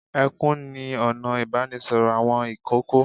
Ẹkún ni ọ̀nà ìbánisọ̀rọ̀ àwọn ìkókó.